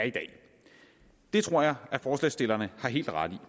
det tror jeg at forslagsstillerne har helt ret